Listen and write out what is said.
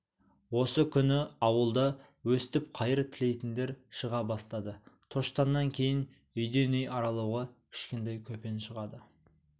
осы күні ауылда өстіп қайыр тілейтіндер шыға бастады тоштаннан кейін үйден үй аралауға кішкентай көпен шығады